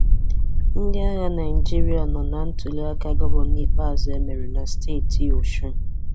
Ndị agha Naịjirịa nọ na ntuliaka gọvanọ ikpeazụ e mere na steeti osun.